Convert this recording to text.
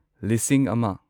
ꯂꯤꯁꯤꯡ ꯑꯃ